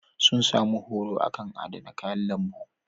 Sun sami horo a kan adana kayan lambu.